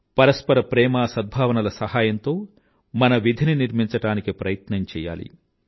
పరస్పర ప్రేమ సద్భావనల సహాయంతో మన విధిని నిర్మించడానికి ప్రయత్నం చెయ్యాలి